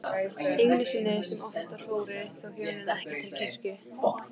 Einu sinni sem oftar fóru þau hjónin til kirkju.